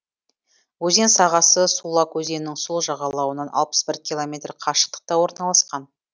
өзен сағасы сулак өзенінің сол жағалауынан алпыс бір километр қашықтықта орналасқан